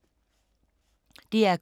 DR K